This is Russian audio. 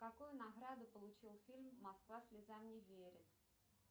какую награду получил фильм москва слезам не верит